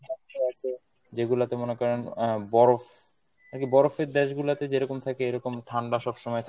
যেগুলাতে মনে করেন আহ বরফ, নাকি বরফের দেশ গুলাতে যেরকম থাকে এরকম ঠান্ডা সবসময়